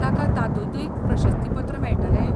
ताका तातूंतय प्रशस्तीपत्र मेळटलें?